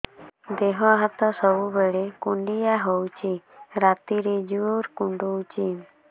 ଦେହ ହାତ ସବୁବେଳେ କୁଣ୍ଡିଆ ହଉଚି ରାତିରେ ଜୁର୍ କୁଣ୍ଡଉଚି